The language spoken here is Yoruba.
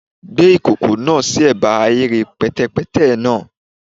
Gbe ikoko naa si ẹba ahere pẹtẹpẹtẹ naa